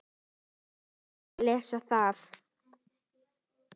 Ég vildi ekki lesa það.